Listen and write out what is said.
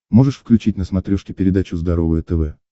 можешь включить на смотрешке передачу здоровое тв